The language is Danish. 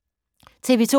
TV 2